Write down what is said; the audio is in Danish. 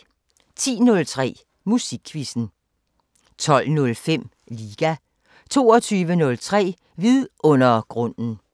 10:03: Musikquizzen 12:05: Liga 22:03: Vidundergrunden